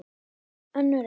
Önnur ekki.